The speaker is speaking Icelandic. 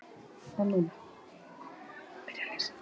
Samfylkingin gagnrýnir eigin ráðherra